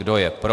Kdo je pro?